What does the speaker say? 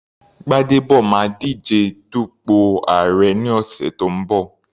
Gbadebo máa díje dupò àárẹ̀ ní ọ̀sẹ̀ tó ń bọ̀.